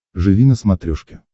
живи на смотрешке